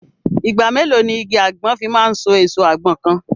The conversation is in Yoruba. Ìgbà mélòó ni igi àgbọn fi máa so èso àgbọn kan?